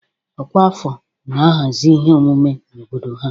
Ọkwa afọ na-ahazi ihe omume na obodo ha